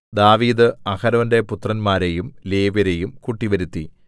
ദാവീദ് അഹരോന്റെ പുത്രന്മാരെയും ലേവ്യരെയും കൂട്ടിവരുത്തി